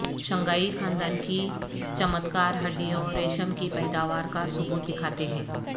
Shanghai خاندان کی چمتکار ہڈیوں ریشم کی پیداوار کا ثبوت دکھاتے ہیں